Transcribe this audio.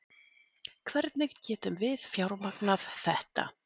Hvernig getum við fjármagnað þetta?